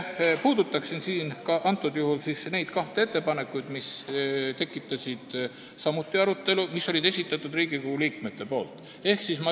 Puudutan siin ka neid kahte ettepanekut, mis tekitasid samuti arutelu ja mille olid esitanud Riigikogu liikmed.